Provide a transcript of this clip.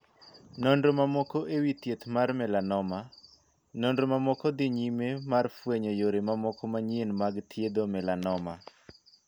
Nonro mamoko e wii thieth mar 'melanoma'. Nonro mamoko dhii nyime mar fwenyo yore mamoko manyien mag thiedho 'melanoma'.